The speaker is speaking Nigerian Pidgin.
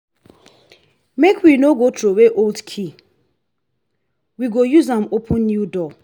make we no go throway old key we go use am open new door.